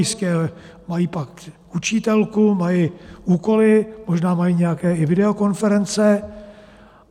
Jistě, pak mají UčíTelku, mají úkoly, možná mají nějaké i videokonference.